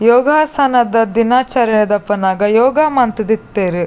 ಯೋಗಾಸನದ ದಿನಚರಣೆ ದಪನಗ ಯೋಗ ಮಂತುದಿತ್ತೆರ್.